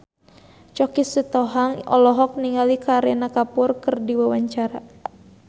Choky Sitohang olohok ningali Kareena Kapoor keur diwawancara